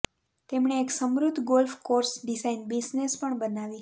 તેમણે એક સમૃદ્ધ ગોલ્ફ કોર્સ ડિઝાઇન બિઝનેસ પણ બનાવી